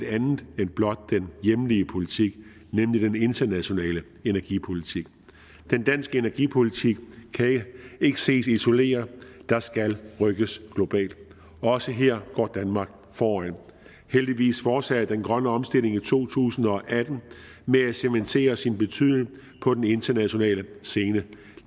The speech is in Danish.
andet end blot den hjemlige politik nemlig den internationale energipolitik den danske energipolitik kan ikke ses isoleret der skal rykkes globalt og også her går danmark foran heldigvis fortsatte den grønne omstilling i to tusind og atten med at cementere sin betydning på den internationale scene